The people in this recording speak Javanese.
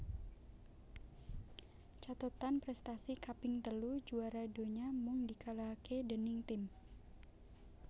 Cathetan prèstasi kaping telu juwara donya mung dikalahaké déning tim